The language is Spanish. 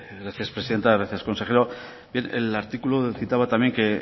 gracias presidente gracias consejero bien el artículo citaba también que